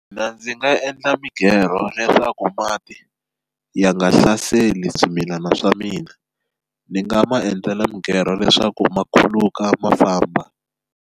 Mina ndzi nga endla mighero leswaku mati ya nga hlaseli swimilana swa mina ni nga ma endzela mighero leswaku ma khuluka ma famba.